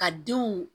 Ka denw